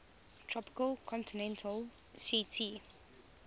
tropical continental ct